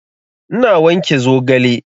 Ina wanke zogale